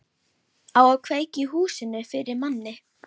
Á að kveikja í húsinu fyrir manni!